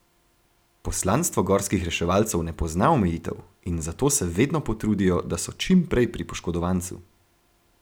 Poslanstvo gorskih reševalcev ne pozna omejitev in zato se vedno potrudijo, da so čim prej pri poškodovancu.